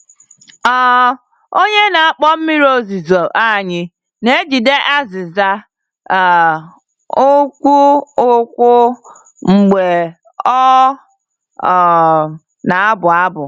um Onye na-akpọ mmiri ozuzo anyị na-ejide azịza um nkwụ nkwụ mgbe ọ um na-abụ abụ.